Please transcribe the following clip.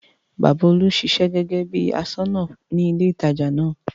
Bàbá Olú ń ṣiṣẹ́ gẹ́gẹ́ bí bí i aṣọ́nà ní ilé-ìtajà náà.